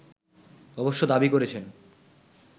অবশ্য দাবি করেছেন